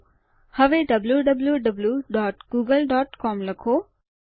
હવે wwwgooglecom લખો